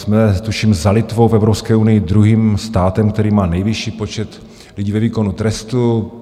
Jsme tuším za Litvou v Evropské unii druhým státem, který má nejvyšší počet lidí ve výkonu trestu.